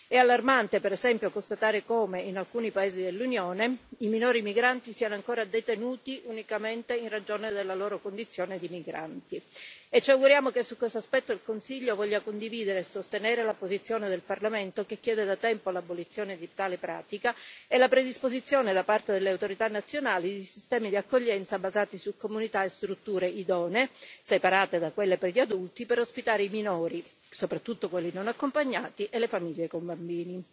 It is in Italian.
È allarmante per esempio constatare come, in alcuni paesi dell'Unione, i minori migranti siano ancora detenuti unicamente in ragione della loro condizione di migranti e ci auguriamo che su questo aspetto il Consiglio voglia condividere e sostenere la posizione del Parlamento, che chiede da tempo l'abolizione di tale pratica e la predisposizione da parte delle autorità nazionali di sistemi di accoglienza basati su comunità e strutture idonee, separate da quelle per gli adulti, per ospitare i minori, soprattutto quelli non accompagnati, e le famiglie con bambini.